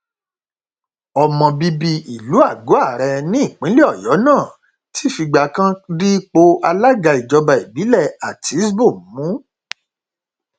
ọmọ bíbí ìlú àgọare nípínlẹ ọyọ náà ti fìgbà kan dípò alága ìjọba ìbílẹ àtiṣbọ mú